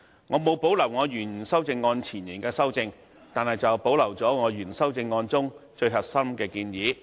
我沒有保留我原修正案中對原議案的導言所作的修正，但保留了我原修正案中最核心的建議。